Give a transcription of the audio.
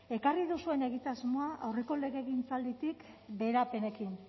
ekarri duzuen egitasmoa aurreko legegintzalditik beherapenekin